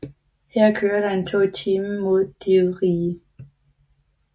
Her kører der en tog i timen mod Divriği